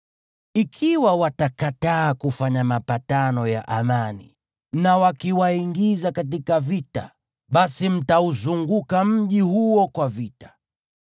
Ikiwa watakataa kufanya mapatano ya amani na wakiwaingiza katika vita, basi mtauzunguka mji huo kwa vita.